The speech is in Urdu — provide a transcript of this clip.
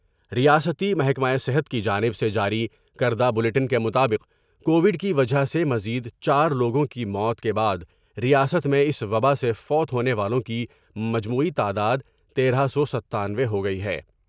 ریاستی محکمہ صحت کی جانب سے جاری کردہ بلیٹن کے مطابق کووڈ کی وجہ سے مزید چار لوگوں کی موت کے بعد ریاست میں اس وباء سے فوت ہونے والوں کی مجموعی تعداد تیرہ سو ستانوے ہوگئی ہے ۔